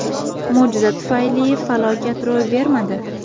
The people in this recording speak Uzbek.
Mo‘jiza tufayli falokat ro‘y bermadi.